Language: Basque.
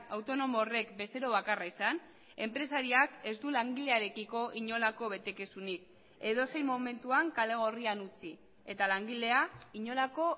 autonomo horrek bezero bakarra izan enpresariak ez du langilearekiko inolako betekizunik edozein momentuan kale gorrian utzi eta langilea inolako